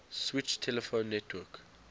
switched telephone network